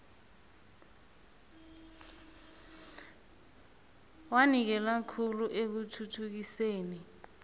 wanikela khulu ekuthuthukiseni